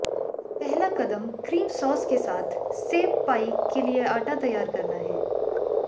पहला कदम cream sauce के साथ सेब पाई के लिए आटा तैयार करना है